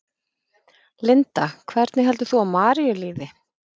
Linda: Hvernig heldur þú að Maríu líði?